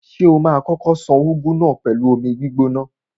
Ṣé o ma kókó ṣan úgú náà pẹ̀lú omi gbígbóná?